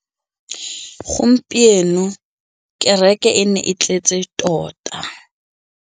Gompieno kêrêkê e ne e tletse tota.